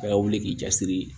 Bɛɛ ka wuli k'i jasiri